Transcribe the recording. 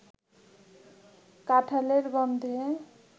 কাঠাঁলের গন্ধে